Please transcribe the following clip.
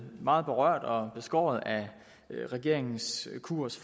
meget berørt og beskåret af regeringens kurs